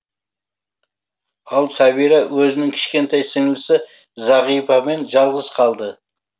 ал сәбира өзінің кішкентай сіңлісі зағипамен жалғыз қалды